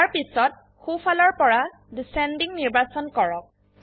ইয়াৰ পিছত সোফালৰ পৰা ডিচেণ্ডিং নিৰ্বাচন কৰক